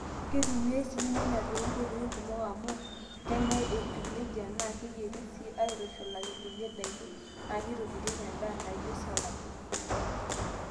Keitumiyai sii irnyanya too nkoitoi kumok amu kenyae etiu neija naa keyieri sii aaitushulaki kulie daiki naa keitobirieki endaa naaijio salad.